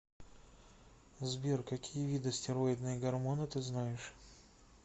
сбер какие виды стероидные гормоны ты знаешь